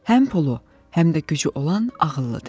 Həm pulu, həm də gücü olan ağıllıdır.